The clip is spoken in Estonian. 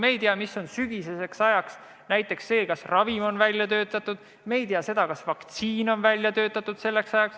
Me ei tea, mis on sügiseks toimunud, näiteks kas ravim või vaktsiin on selleks ajaks välja töötatud.